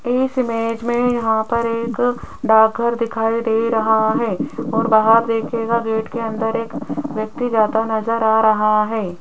इस इमेज में यहां पर एक डाकघर दिखाई दे रहा है और बाहर देखेगा गेट के अंदर एक व्यक्ति जाता नजर आ रहा है।